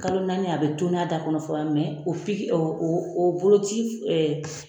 Kalo naani a bɛ tɔn'a da kɔnɔ fɔlɔ mɛ o piki o o o boloci